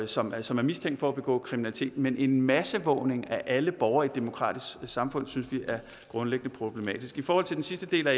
som altså er mistænkt for at begå kriminalitet men en masseovervågning af alle borgere i et demokratisk samfund synes vi er grundlæggende problematisk i forhold til den sidste del